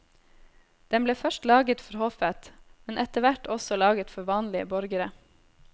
Den ble først laget for hoffet, men etter hvert også laget for vanlige borgere.